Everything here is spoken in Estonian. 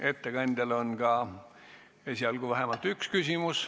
Ettekandjale on vähemalt üks küsimus.